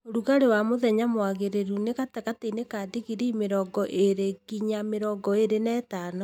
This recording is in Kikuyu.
Ũrugarĩ wa mũthenya mwagĩrĩru nĩ gatagatĩinĩ ka digrii mĩrongo ĩli nginya mĩrongo ĩli na ithano